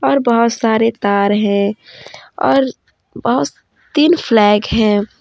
पर बहुत सारे तार है और बहुत दिन फ्लैग है।